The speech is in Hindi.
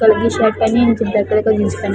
कलर की शर्ट पहनी हैं नीचे ब्लैक कलर का जीन्स पहनी हैं।